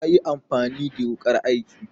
yayi amfani the wukar aiki